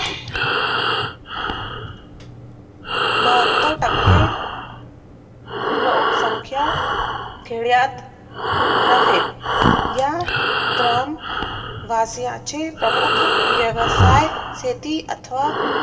बहतरर टक्के लोकसंख्या खेड्यात आहेत ता ग्राम वासियांची प्रमुख व्यवसाय शेती अथवा